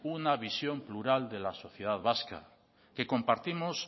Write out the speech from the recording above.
una visión plural de la sociedad vasca que compartimos